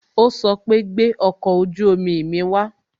O sọ pé "gbẹ ọkọ ojú omi mi wa